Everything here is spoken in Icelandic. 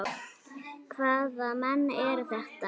Hvaða menn eru þetta?